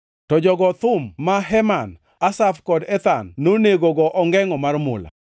To jogo thum ma Heman, Asaf kod Ethan nonego go ongengʼo mar mula,